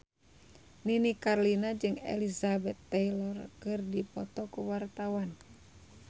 Nini Carlina jeung Elizabeth Taylor keur dipoto ku wartawan